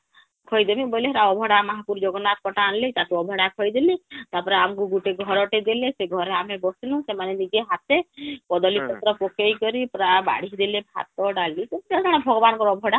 ଖୋଈ ଦେବୀ ବୋଲେ ହେଟା ଅଭଡ଼ା ମହାପ୍ରଭୁ ଜଗନ୍ନାଥ ଙ୍କ ଟା ଆଣିଲେ , ତାକୁ ଅଭଡ଼ା ଖୁଆଇ ଦେଲେ ତା ପରେ ଆମକୁ ଗୁଟେ ଘର ଟେ ଦେଲେ ,ଘରେ ଆମେ ବସିନୁ ,ସେମାନେ ନିଜ ହାତେ କଦଲି ପତ୍ର ପକେଇ କରି ପୁରା ବାଢିକି ଦେଲେ ଭାତ ଡ଼ାଲି.... ଭଗବାନ ଙ୍କର ଅଭଡ଼ା